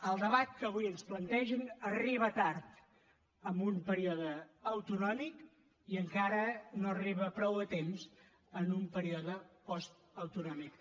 el debat que avui ens plantegen arriba tard en un període autonòmic i encara no arriba prou a temps en un període postautonòmic